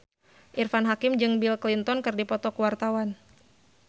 Irfan Hakim jeung Bill Clinton keur dipoto ku wartawan